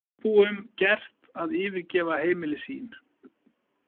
Íbúum gert að yfirgefa heimili sín